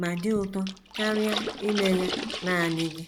ma dị ụtọ karịa ime ya nanị gị.